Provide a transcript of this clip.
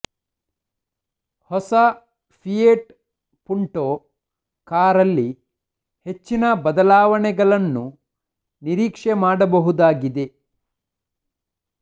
ಹೊಸ Fiat Punto ಕಾರಲ್ಲಿ ಹೆಚ್ಚಿನ ಬದಲವಾವಣೆಗಳನ್ನು ನಿರೀಕ್ಷೆ ಮಾಡಬಹುದಾಗಿದೆ